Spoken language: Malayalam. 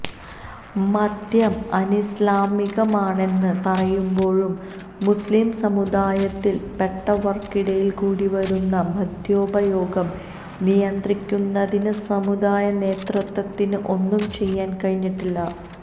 മദ്യം അനിസ്ലാമികമാണെന്ന് പറയുമ്പോഴും മുസ്ലീം സമുദായത്തില് പെട്ടവര്ക്കിടയില് കൂടി വരുന്ന മദ്യോപയോഗം നിയന്ത്രിക്കുന്നതിന് സമുദായ നേതൃത്വത്തിന് ഒന്നും ചെയ്യാന് കഴിഞ്ഞിട്ടില്ല